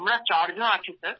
আমরা চারজন আছি স্যার